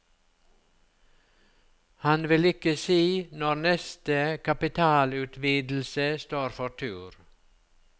Han vil ikke si når neste kapitalutvidelse står for tur.